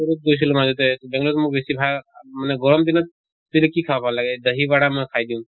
লুৰুত গৈছিলো মাজতে তʼ বেংলুৰুত মোক বেছি ভা মানে গৰম দিনত তেতিয়া কি খাব ভাল লাগে মই খাই দিওঁ।